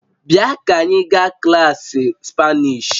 Bịa ka anyị gaa klaasị spanish